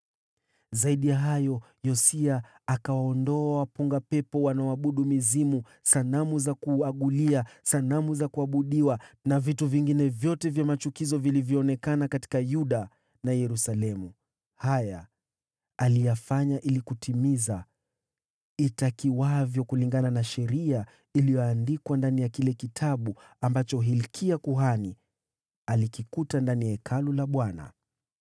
Zaidi ya hayo, Yosia akawaondoa waaguzi, wanaoabudu mizimu, sanamu za kuagulia, sanamu za kuabudiwa, na vitu vingine vyote vya machukizo vilivyoonekana huko Yuda na Yerusalemu. Aliyafanya haya ili kutimiza matakwa ya sheria iliyoandikwa ndani ya kile kitabu ambacho Hilkia kuhani alikipata ndani ya Hekalu la Bwana .